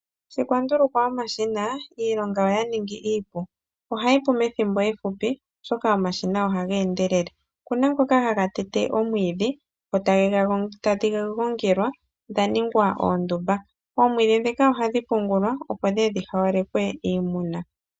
Sho kwa ndulukwa omashina, iilonga oya ningi iipu. Ohayi pu methimbo efupi, oshoka omashina ohaga endelele. Oku na ngoka haga tete omwiidhi, dho tadhi gongelwa dha ningwa oondumba. Oomwiidhi ndhika ohadhi pungulwa, opo dhi ye dhi haalekwe iimuna.